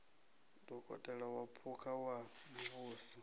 dokotela wa phukha wa muvhuso